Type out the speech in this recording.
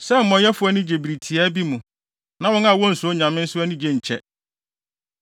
sɛ amumɔyɛfo ani gye bere tiaa bi mu, na wɔn a wonsuro nyame nso anigye nkyɛ.